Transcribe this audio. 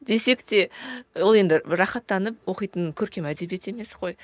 десек те ол енді рахаттанып оқитын көркем әдебиет емес қой